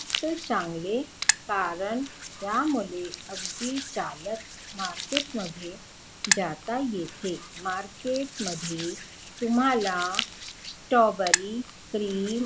चांगले कारण त्यामुळे अगदी चालत market मध्ये जात येते. market मध्ये तुम्हाला स्ट्रॉबेरी, क्रीम,